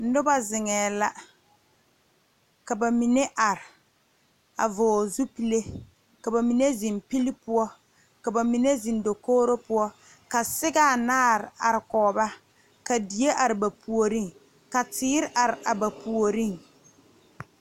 Noba zeŋe la ka bamine are a vɔgle zupele ka bamine zeŋ pile poɔ ka bamine zeŋ dakogro poɔ ka siga anaare are kɔŋ ba ka die are ba puori ka teere are ba puori.